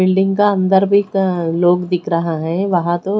building का अंदर भी का लोग दिख रहा है वहां तो--